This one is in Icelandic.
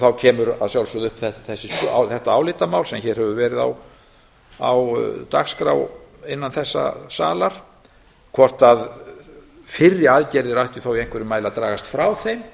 þá kemur að sjálfsögðu upp þetta álitamál sem hér hefur verið á dagskrá innan þessa salar hvort fyrri aðgerðir ættu í einhverjum mæli að dragast frá þeim